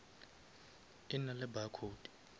e na le barcode